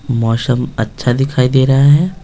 मौशम अच्छा दिखाई दे रहा है।